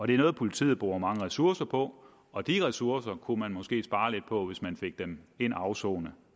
det er noget politiet bruger mange ressourcer på og de ressourcer kunne man måske spare lidt på hvis man fik dem ind at afsone